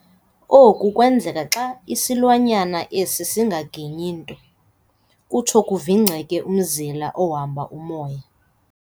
oku kwenzeka xa isilwanyana esi singaginyi nto, kutsho kuvingceke umzila ohamba umoya.